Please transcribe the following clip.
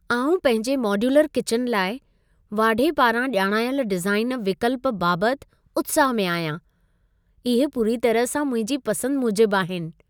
आउं पंहिंजे modular kitchen लाइ, वाढे पारां ॼाणायल डिज़ाइन विकल्प बाबति उत्साह में आहियां। इहे पूरी तरह सां मुंहिंजी पसंद मूजिबि आहिनि।